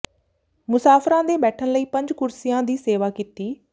ਮੁਸਾਫ਼ਰਾਂ ਦੇ ਬੈਠਣ ਲਈ ਪੰਜ ਕੁਰਸੀਆਂ ਦੀ ਸੇਵਾ ਕੀਤੀ